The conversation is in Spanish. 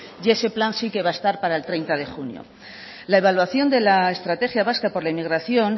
y ese plan sí que va a estar para el treinta de junio la evaluación de la estrategia vasca por la inmigración